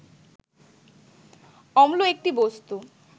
অম্ল একটি বস্তু